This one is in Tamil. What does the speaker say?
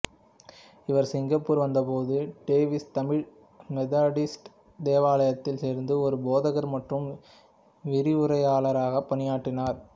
இவர் சிங்கப்பூர் வந்தபோது டேவிஸ் தமிழ் மெதடிஸ்ட் தேவாலயத்தில் சேர்ந்து ஒரு போதகர் மற்றும் விரிவுரையாளராக பணியாற்றினார்